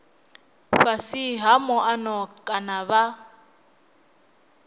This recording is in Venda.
fhasi ha muano kana vha